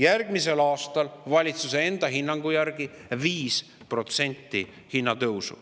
Järgmisel aastal on hinnatõus valitsuse enda hinnangu järgi 5%.